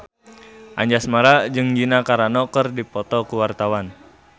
Anjasmara jeung Gina Carano keur dipoto ku wartawan